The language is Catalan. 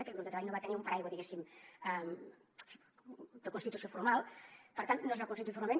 aquell grup de treball no va tenir un paraigua diguéssim de constitució formal per tant no es va constituir formalment